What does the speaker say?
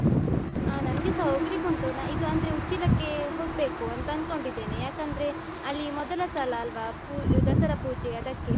ಆ ನನ್ಗೆಸ ಹೋಗ್ಲಿಕ್ಕುಂಟು, ನಾನ್ ಇದು ಅಂದ್ರೆ ಉಚ್ಚಿಲಕ್ಕೆ ಹೋಗ್ಬೇಕು ಅಂತ ಅಂದ್ಕೊಂಡಿದ್ದೇನೆ. ಯಾಕಂದ್ರೆ ಅಲ್ಲಿ ಮೊದಲ ಸಲ ಅಲ್ವಾ ಪೂ~ ದಸರಾ ಪೂಜೆ ಅದಕ್ಕೆ.